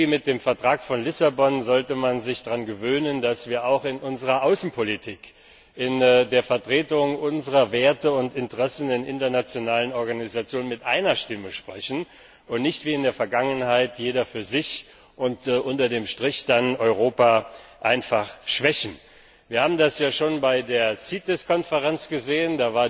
Mit dem Vertrag von Lissabon sollte man sich daran gewöhnen, dass wir auch in unserer Außenpolitik, in der Vertretung unserer Werte und Interessen in internationalen Organisationen mit einer Stimme sprechen und nicht wie in der Vergangenheit jeder für sich, was dazu führte, dass unter dem Strich Europa geschwächt wurde. Wir haben das schon bei der CITES Konferenz gesehen.